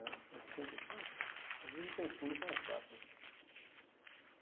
oitenta e quatro Às vezes eu me confundo com as datas.